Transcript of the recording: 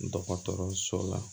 Dɔgɔtɔrɔso la